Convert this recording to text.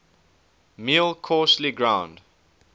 meal coarsely ground